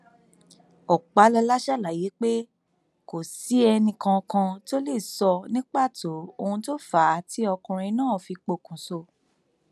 ọpàlọla ṣàlàyé pé kò sí ẹnìkankan tó lè sọ ní pàtó ohun tó fà á tí ọkùnrin náà fi pokùnso